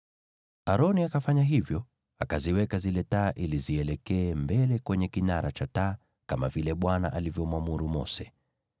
Aroni akafanya hivyo; akaziweka zile taa ili zielekee mbele kwenye kinara cha taa, kama vile Bwana alivyomwamuru Mose.